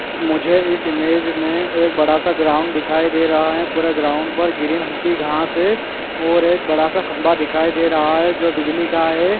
मुझे इस इमेज में एक बड़ा सा ग्राउंड दिखाई दे रहा है पुरे ग्राउंड पर ग्रीन हल्की घास है और एक बड़ा सा खम्भा दिखाई दे रहा है जो बिजली का है।